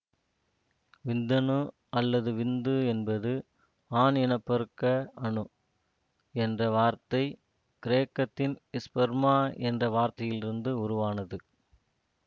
விந்தணு அல்லது விந்து என்பது ஆண் இன பெருக்க அணு என்ற வார்த்தை கிரேக்கத்தின் ஸ்பெர்மா என்ற வார்த்தையிலிருந்து உருவானது